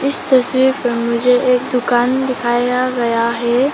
इस तस्वीर पर मुझे एक दुकान दिखाया गया है।